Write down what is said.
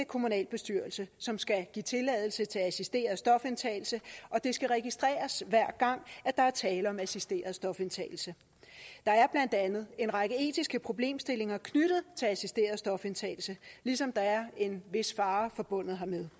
kommunalbestyrelse som skal give tilladelse til assisteret stofindtagelse og det skal registreres hver gang der er tale om assisteret stofindtagelse der er blandt andet en række etiske problemstillinger knyttet til assisteret stofindtagelse ligesom der er en vis fare forbundet